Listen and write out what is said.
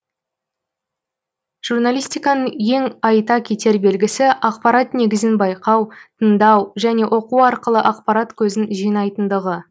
журналистиканың ең айта кетер белгісі ақпарат негізін байқау тыңдау және оқу арқылы ақпарат көзін жинайтындығы